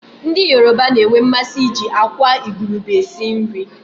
Ndị Yoroba na-enwe mmasị iji àkwá igurube esi nri.